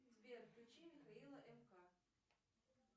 сбер включи михаила мк